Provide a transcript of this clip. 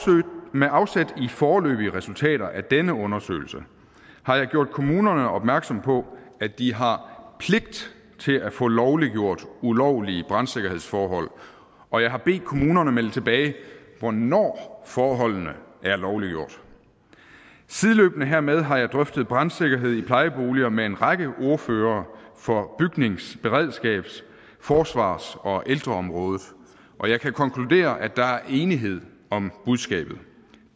med afsæt i foreløbige resultater af denne undersøgelse har jeg gjort kommunerne opmærksom på at de har pligt til at få lovliggjort ulovlige brandsikkerhedsforhold og jeg har bedt kommunerne melde tilbage hvornår forholdene er lovliggjort sideløbende hermed har jeg drøftet brandsikkerheden i plejeboliger med en række ordførere for bygnings beredskabs forsvars og ældreområdet og jeg kan konkludere at der er enighed om budskabet